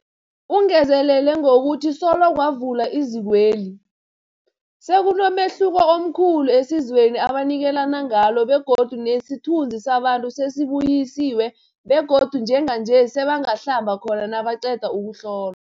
Ungezelele ngokuthi solo kwavulwa izikweli, sekunomehluko omkhulu esizweni ebanikelana ngalo begodu nesithunzi sabantu sesibuyisiwe begodu njenganje sebangahlamba khona nabaqeda ukuhlolwa.